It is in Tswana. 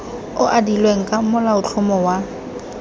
o adilweng ka molaotlhomo wa